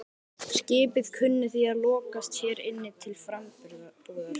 Skipið kunni því að lokast hér inni til frambúðar.